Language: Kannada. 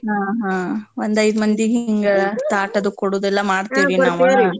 ಹ್ಞ ಹ್ಞ ಒಂದ್ ಐದ್ ಮಂದಿಗ್ ಹಿಂಗ ತಾಟ್ ಅದು ಕೊಡೊದೆಲ್ಲ ಮಾಡ್ತೀರ್.